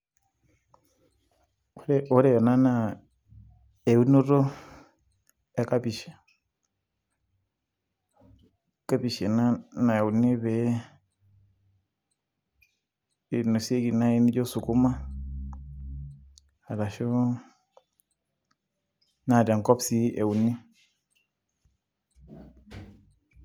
ore ena naa eunoto e kapish, kapish ena nayauni pee, einosieki naai naijo sukuma arashu, naa tenkop sii euni.